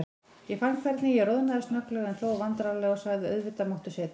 Ég fann hvernig ég roðnaði snögglega, en hló vandræðalega og sagði: Auðvitað máttu setjast.